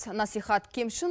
насихат кемшін